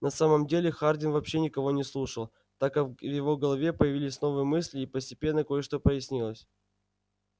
на самом деле хардин вообще никого не слушал так как в его голове появились новые мысли и постепенно кое-что прояснилось